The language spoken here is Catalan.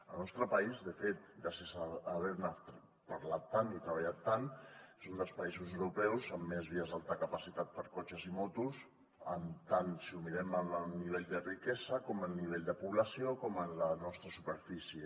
el nostre país de fet gràcies a haver ne parlat tant i treballat tant és un dels països europeus amb més vies d’alta capacitat per a cotxes i motos tant si ho mirem a nivell de riquesa com a nivell de població com en la nostra superfície